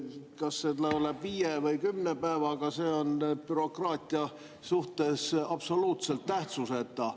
Kas see on viie või kümne päevaga, on bürokraatia suhtes absoluutselt tähtsuseta.